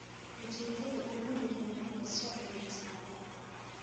Ujeedada ugu weyni waa in la soo celiyo xasaanadda.